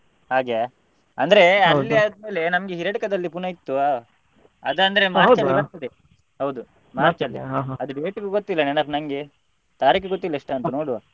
ಹಾಗೆಯಾ ಅಂದ್ರೆ ಅಲ್ಲಿ ಆದ್ಮೇಲೆ ನಮ್ಗೆ Hiriadka ದಲ್ಲಿ ಪುನಃ ಇತ್ತು ಬರ್ತದೆ ಹೌದು ಅದು date ಗೊತ್ತಿಲ್ಲ ನೆನಪು ನಂಗೆ ತಾರೀಕು ಗೊತ್ತಿಲ್ಲ ಎಷ್ಟು ಅಂತ ನೋಡುವ.